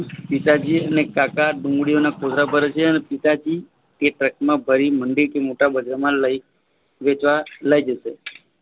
પિતાજી અને કાકા ડુંગળી ઓન કોથળા ભારે છે અને પિતાજી તે ટ્રક માં ભરી મંડીથી મોટા બજારમાં લઇ વેચવા લઇ જશે.